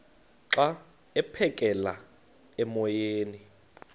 xa aphekela emoyeni